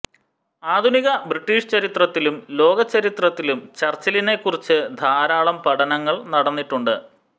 ആധുനിക ബ്രിട്ടീഷ് ചരിത്രത്തിലും ലോകചരിത്രത്തിലും ചർച്ചിലിനെക്കുറിച്ച് ധാരാളം പഠനങ്ങൾ നടന്നിട്ടുണ്ട്